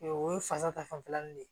O ye fasa ta fanfɛla ni